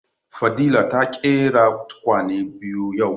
Fadila ta ƙera tukwane biyu yau